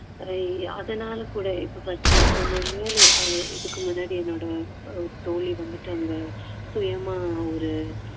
ஆஹ் அதனால கூட இப்போ பாத்~ நான் இதுக்கு முன்னாடி என்னோட தோழி வந்துட்டு அவங்க சுயமா ஒரு